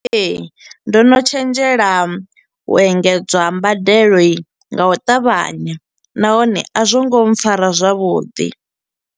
Ee, ndo no tshenzhela u engedzwa ha mbadelo nga u ṱavhanya nahone a zwo ngo mpfara zwavhuḓi.